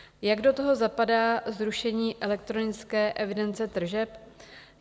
Jak do toho zapadá zrušení elektronické evidence tržeb?